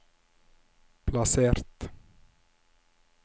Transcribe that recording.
plassert